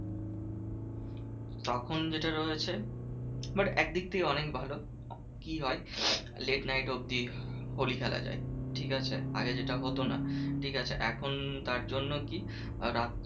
তখন যেটা রয়েছে but একদিক থেকে অনেক ভালো কি হয়? late night অব্দি হোলি খেলা যায় ঠিকাছে? আগে যেটা হতো না ঠিকাছে? এখন তার জন্য কি রাত